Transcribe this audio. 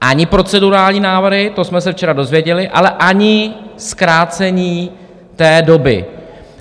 Ani procedurální návrhy, to jsme se včera dozvěděli, ale ani zkrácení té doby.